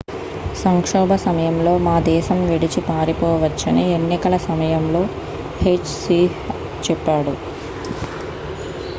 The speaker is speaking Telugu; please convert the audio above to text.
సంక్షోభ సమయంలో మా దేశం విడిచి పారిపోవచ్చని ఎన్నికల సమయంలో హెచ్ సీహ్ చెప్పాడు